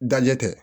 Dajɛ tɛ